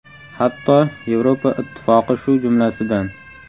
Hatto Yevropa Ittifoqi shu jumlasidan.